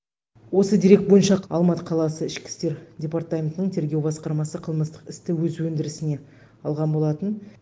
осы дерек бойынша алматы қаласы ішкі істер департаментінің тергеу басқармасы қылмыстық істі өз өндірісіне алған болатын